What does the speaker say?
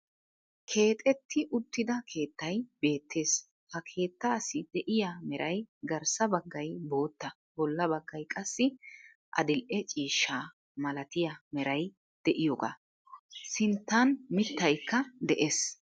Keexxetti uttida keettay beettees. Ha keettaassi de'iya meray garssa baggay bootta bolla baggay qassi adil"e ciishshaa malatiya meray de'iyogaa. Sinttan mitaykka de'ees.